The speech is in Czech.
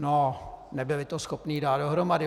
No, nebyli to schopni dát dohromady.